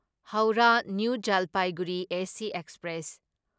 Howrah new Jalpaiguri AC express